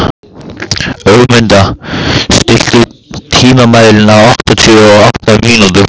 Ögmunda, stilltu tímamælinn á áttatíu og átta mínútur.